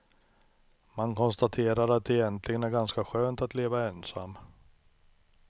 Man konstaterar att det egentligen är ganska skönt att leva ensam.